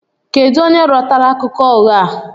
Kedu onye rọtara akụkọ ụgha a?